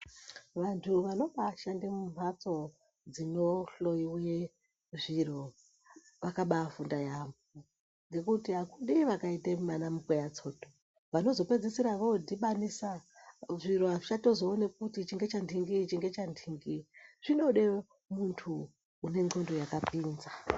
Vantu vanobashanda mumatso dzinohloiwa zviro vakabafunda yampo nekuti hakudiwi zvakaita ana mukweya tsoto vanozopedzisira vodhibanisa zviro hazvichazoonekwi kuti ichi ndechaningi zvinoda muntu une ndxondo yakapinza.